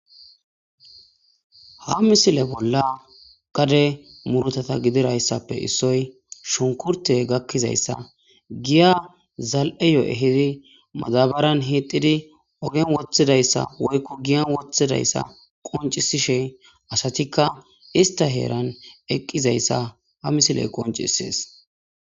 Ha misile bolla qade murotata gidirayssappe issoy shunkurte gakkizayssa giya zal'e yo'ehidi madabaran hiididi ogen woththidayssa woykku giyan woththidayssa qoncisishe asatikka ista heeran eqqizayssa ha misiley qoncisees.